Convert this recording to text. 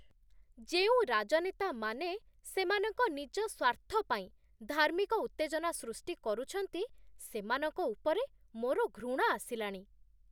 ଯେଉଁ ରାଜନେତାମାନେ ସେମାନଙ୍କ ନିଜ ସ୍ୱାର୍ଥ ପାଇଁ ଧାର୍ମିକ ଉତ୍ତେଜନା ସୃଷ୍ଟି କରୁଛନ୍ତି, ସେମାନଙ୍କ ଉପରେ ମୋର ଘୃଣା ଆସିଲାଣି।